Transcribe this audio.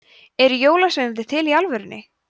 eru jólasveinar til í alvörunni